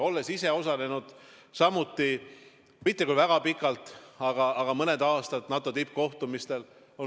Olen ise osalenud mitte küll väga palju, aga mõned aastad NATO tippkohtumistel.